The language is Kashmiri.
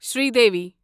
سری دیوی